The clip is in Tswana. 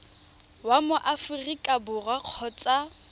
wa mo aforika borwa kgotsa